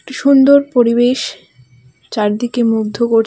সুন্দর পরিবেশ চারদিকে মুগ্ধ করছে.